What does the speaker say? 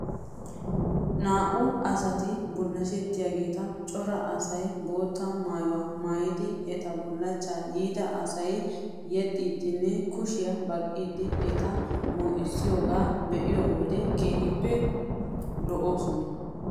Naa'u asati bulashettiyaageeta cora asay bootta maayuwaa maayidi eta bullachchaa yiida asay yexxiiddinne kushiyaa baqqiiddi eta moyssiyoogaa be'iyoo wodiyan keehippe lo'oosona.